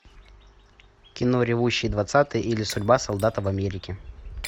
кино ревущие двадцатые или судьба солдата в америке